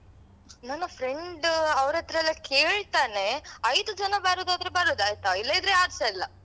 ನನ್ನ friend ಅವ್ರತ್ರ ಎಲ್ಲಾ ಕೇಳ್ತಾನೆ ಐದು ಜನ ಬರುದಾದ್ರೆ ಬರುದಾಯ್ತಾ ಇಲ್ಲದಿದ್ರೆ ಯಾರುಸ ಇಲ್ಲ.